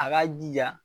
A k'a jija